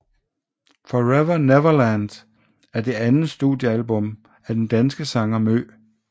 Forever Neverland er det andet studiealbum af den danske sanger MØ